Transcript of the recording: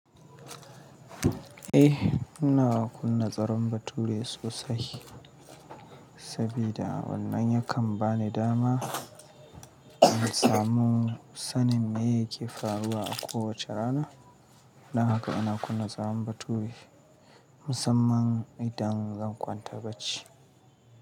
Eh, ina kunna tsaron bature sosai sabida wannan yakan bani dama in samu sanin me yake faruwa a kowace rana. Don haka ina kunna tsaron bature musamman idan zan kwanta bacci.